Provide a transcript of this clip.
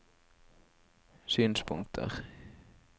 synspunkter